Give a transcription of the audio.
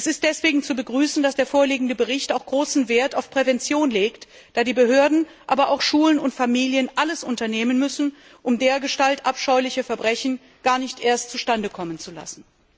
Es ist deswegen zu begrüßen, dass der vorliegende Bericht auch großen Wert auf Prävention legt, da die Behörden, aber auch Schulen und Familien alles unternehmen müssen, um dergestalt abscheuliche Verbrechen gar nicht erst zustande kommen zu lassen.